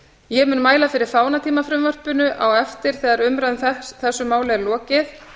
ég mun mæla fyrir fánatímafrumvarpinu á eftir þegar umræðu í þessu máli er lokið